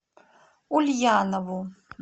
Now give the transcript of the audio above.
ульянову